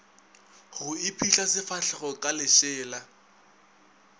go iphihla sefahlego ka lešela